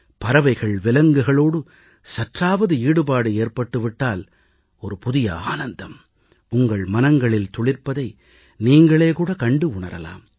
பறவைகள்விலங்குகளோடு சற்றாவது ஈடுபாடு ஏற்பட்டு விட்டால் புதிய ஆனந்தம் உங்கள் மனங்களில் துளிர்ப்பதை நீங்களே கூட கண்டு உணரலாம்